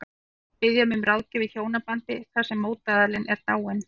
Hún er að biðja mig um ráðgjöf í hjónabandi þar sem mótaðilinn er dáinn.